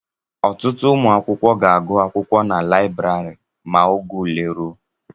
Ọtụtụ ụmụ akwụkwọ ga-agụ akwụkwọ na librari ma oge ule ruo